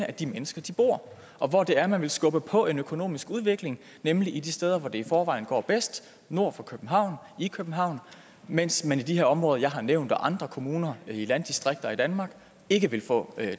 er de mennesker bor og hvor det er man vil skubbe på en økonomisk udvikling nemlig de steder hvor det i forvejen går bedst nord for københavn i københavn mens man i de her områder jeg har nævnt og andre kommuner i landdistrikter i danmark ikke vil få